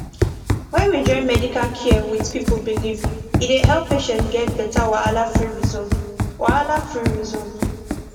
when we join medical care with people belief e dey help patients get better wahalafree result wahalafree result